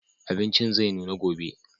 Abincin zai nuna gobe.